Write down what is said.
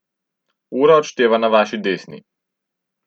Ura odšteva na vaši desni.